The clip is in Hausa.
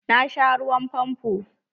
Na sha ruwan famfo.